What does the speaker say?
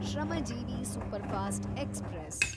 Shramjeevi superfast express